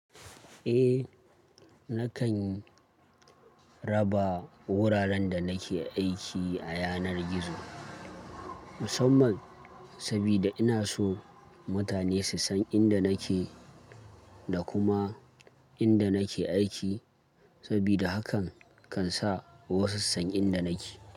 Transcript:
Eh, nakan raba wuraren da nake aiki a yanar gizo. Musamman saboda ina so mutane su san inda nake da kuma inda nake aiki saboda hakan kan sa wasu su san inda nake.